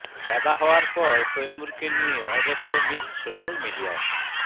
দাদা হওয়ার পর তৈমুরকে নিয়ে অজস্র মিম সোশ্যাল মিডিয়ায়